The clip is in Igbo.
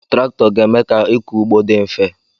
Traktọ ga-eme ka ịkọ ugbo di mfe.